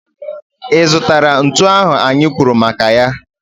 Ị zụtara ntu ahụ anyị kwuru maka ya?